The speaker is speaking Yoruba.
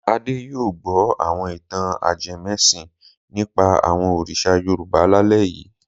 Adé yóò gbọ́ àwọn ìtàn ajẹmẹ́sìn nípa àwọn òrìṣà Yorùbá lálẹ́ yìí.